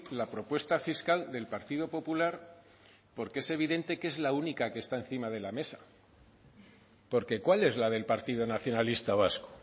la propuesta fiscal del partido popular porque es evidente que es la única que está encima de la mesa porque cuál es la del partido nacionalista vasco